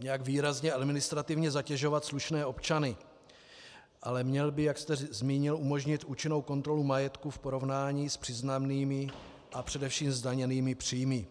nijak výrazně administrativně zatěžovat slušné občany, ale měl by, jak jste zmínil, umožnit účinnou kontrolu majetku v porovnání s přiznanými a především zdaněnými příjmy.